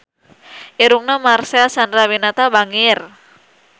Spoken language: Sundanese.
Irungna Marcel Chandrawinata bangir